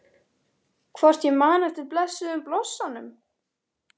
Hvort ég man eftir blessuðum blossanum?